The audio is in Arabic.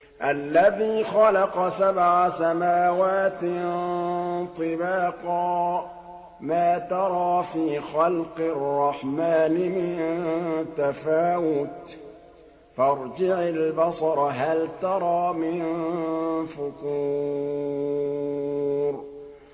الَّذِي خَلَقَ سَبْعَ سَمَاوَاتٍ طِبَاقًا ۖ مَّا تَرَىٰ فِي خَلْقِ الرَّحْمَٰنِ مِن تَفَاوُتٍ ۖ فَارْجِعِ الْبَصَرَ هَلْ تَرَىٰ مِن فُطُورٍ